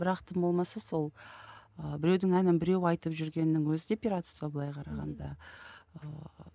бірақ тым болмаса сол ыыы біреудің әнін біреу айтып жүргеннің өзі де пиратство былай қарағанда ыыы